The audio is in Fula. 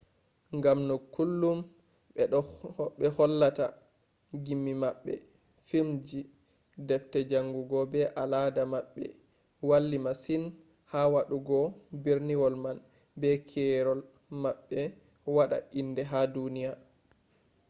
ngam no kullum ɓe hollata gimmi maɓɓe filmji deffte jaangugo be al'ada maɓɓe walli masin ha waɗɗungo berniwol man be keerol maɓɓe waɗa inde ha duniya